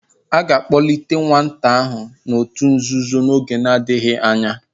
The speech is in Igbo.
A ga-akpọlite ​​nwata ahụ n'òtù nzuzo n'oge adịghị anya.